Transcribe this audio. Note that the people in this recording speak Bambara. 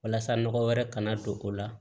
Walasa nɔgɔ wɛrɛ kana don o la